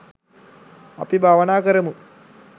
අපි භාවනා කරමු